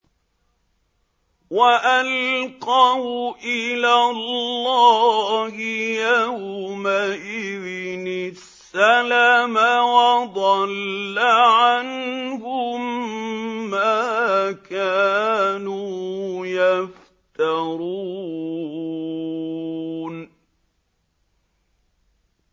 وَأَلْقَوْا إِلَى اللَّهِ يَوْمَئِذٍ السَّلَمَ ۖ وَضَلَّ عَنْهُم مَّا كَانُوا يَفْتَرُونَ